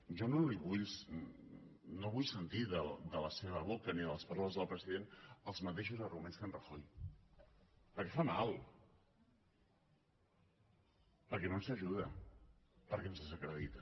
jo no vull sentir de la seva boca ni de les paraules del president els mateixos arguments que d’en rajoy perquè fa mal perquè no ens ajuda perquè ens desacredita